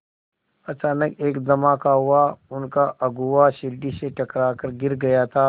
अचानक एक धमाका हुआ उनका अगुआ सीढ़ी से टकरा कर गिर गया था